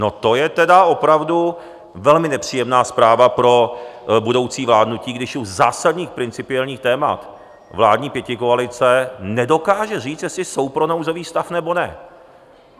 No, to je tedy opravdu velmi nepříjemná zpráva pro budoucí vládnutí, když u zásadních principiálních témat vládní pětikoalice nedokáže říct, jestli jsou pro nouzový stav, nebo ne.